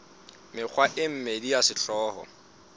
mekgwa e mmedi ya sehlooho